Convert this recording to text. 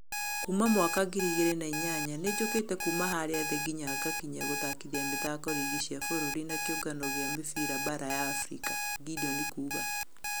"Kuma mwaka ngiri igĩri na inyanya nĩjũkite kuuma harĩa thĩ nginya ngekinya gũthakithia mithako rigi cia fũrũri na kĩũngano gia mũfira baara ya africa," gideon akiuga